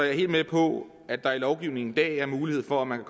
jeg helt med på at der i lovgivningen i dag er mulighed for at man